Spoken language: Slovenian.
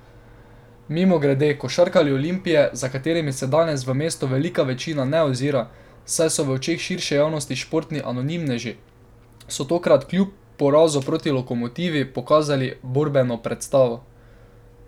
Mimogrede, košarkarji Olimpije, za katerimi se danes v mestu velika večina ne ozira, saj so v očeh širše javnosti športni anonimneži, so tokrat kljub porazu proti Lokomotivi pokazali borbeno predstavo.